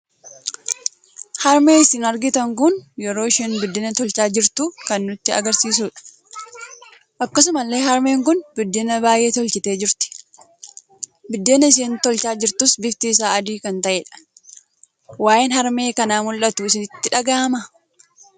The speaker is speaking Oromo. Harmee isiin argitan kun yeroo isheen biddeena tolchaa jirtu kan nutti agarsiisuudha. Akkasumallee harmeen kun biddeen baay'ee tolchitee jirti. Biddeen isheen tolchaa jirtuus bifti isaa adii kan ta'eedha. waa'een harmee kana maldhuttu sitti dhaga'ama?